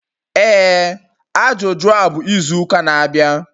Ee Ajuju a bụ izu ụka na-abịa.